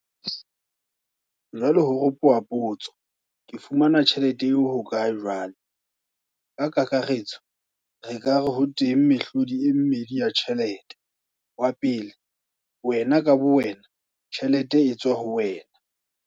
Jwale ho ropoha potso, ke fumana tjhelete eo hokae jwale? Ka kakaretso re ka re ho teng mehlodi e mmedi ya tjhelete. Wa pele wena ka bowena tjhelete e tswa ho wena.